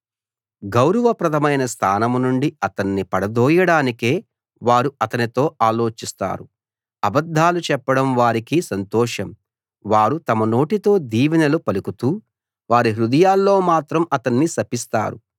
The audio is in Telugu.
గౌరవప్రదమైన స్థానం నుండి అతణ్ణి పడదోయడానికే వారు అతనితో ఆలోచిస్తారు అబద్ధాలు చెప్పడం వారికి సంతోషం వారు తమ నోటితో దీవెనలు పలుకుతూ వారి హృదయాల్లో మాత్రం అతన్ని శపిస్తారు